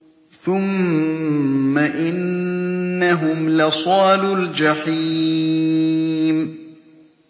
ثُمَّ إِنَّهُمْ لَصَالُو الْجَحِيمِ